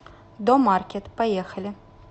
домаркет поехали